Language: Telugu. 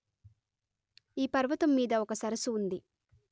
ఈ పర్వతం మీద ఒక సరసు ఉంది